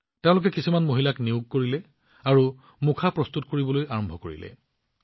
তেওঁ কিছুমান মহিলাক নিয়োগ কৰিছিল আৰু মাস্ক বনাবলৈ আৰম্ভ কৰিছিল